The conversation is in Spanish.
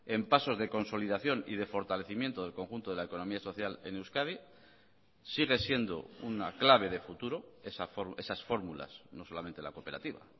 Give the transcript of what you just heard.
en pasos de consolidación y de fortalecimiento del conjunto de la economía social en euskadi sigue siendo una clave de futuro esas fórmulas no solamente la cooperativa